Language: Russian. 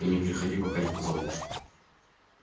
и не приходи пока не позову